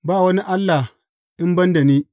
Ba wani allah in ban da ni.